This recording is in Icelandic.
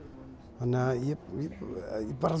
þannig þú bara